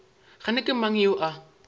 kgane ke mang yo a